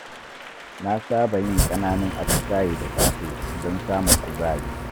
Na saba yin ƙananun atisaye da safe don samun kuzari.